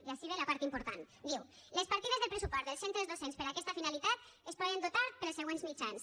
i ací ve la part important diu les partides de pressupost dels centres docents per a aquesta finalitat es poden dotar pels següents mitjans